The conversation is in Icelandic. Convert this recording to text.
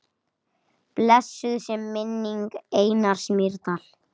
Blessuð sé minning Einars Mýrdal.